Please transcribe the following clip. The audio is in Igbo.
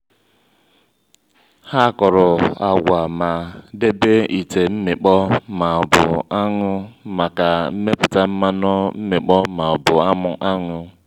ha kụrụ agwa ma debe ite mmịkpọ ma ọbu aṅụ maka mmepụta mmanụ mmịkpọ ma ọbu aṅụ.